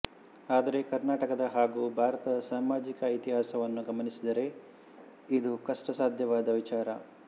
ಆದರೆ ಕರ್ನಾಟಕದ ಹಾಗೂ ಭಾರತದ ಸಾಮಾಜಿಕ ಇತಿಹಾಸವನ್ನು ಗಮನಿಸಿದರೆ ಇದು ಕಷ್ಟಸಾಧ್ಯವಾದ ವಿಚಾರ